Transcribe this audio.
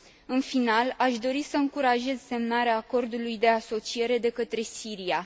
În final, aș dori să încurajez semnarea acordului de asociere de către Siria.